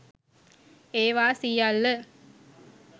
ඒවා සියල්ල